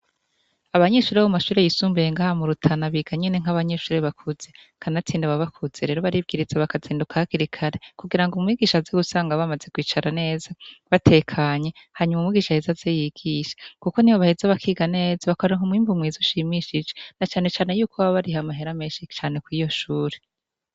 Abanyeshure bo mu mashure yisumbuye ngaha mu Rutana biga nyene nk'abanyeshure bakuze kanatsinda baba bakuze rero baribwiriza bakazinduka hakiri kare kugirango umwigisha aze gusanga bamaze kwicara neza batekanye hanyuma umwigisha aheze aze yigishe kuko nibo baheza bakiga neza bakaronka umwimbu mwiiza ushimishije na cane cane yuko baba bariha amahera menshi cane kuri iyo shure.